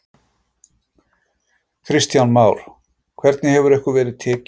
Kristján Már: Hvernig hefur ykkur verið tekið?